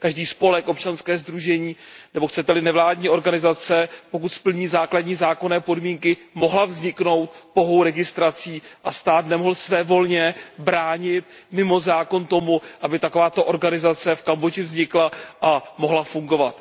každý spolek, občanské sdružení nebo chcete li nevládní organizace, pokud splní základní zákonné podmínky, mohla vzniknout pouhou registrací a stát nemohl svévolně bránit mimo zákon tomu, aby takováto organizace v Kambodži vznikla a mohla fungovat.